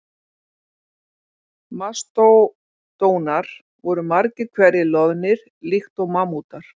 Mastódonar voru margir hverjir loðnir líkt og mammútar.